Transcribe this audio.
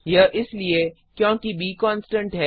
यह इसलिए क्योंकि ब कॉन्स्टन्ट है